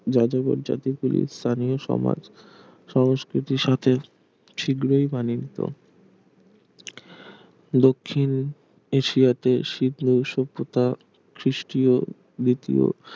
যাযাবর জাতি গুলির স্থানীয় সমাজ সংস্কৃতির সাথে শীঘ্রই মানিয়ে নিত দক্ষিণ এশিয়াতে সিন্ধু সভ্যতা খ্রিস্টীয় দ্বিতীয়